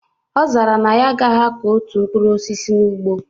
Ọ zara na ya agaghị akọ otu mkprur osisi n'ugbo